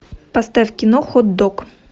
поставь кино хот дог